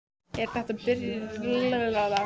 Er þetta byrjun á glæpasögu eða hvað?